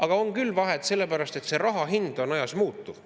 Aga on küll vahet, sellepärast et raha hind on ajas muutuv.